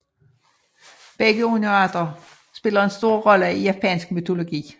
Begge underarter spiller en stor rolle i japansk mytologi